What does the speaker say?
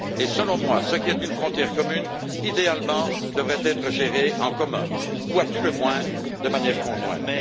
Et, selon moi, ce qui est une frontière commune, idéalement, devrait être géré en commun ou, à tout le moins, de manière conjointe.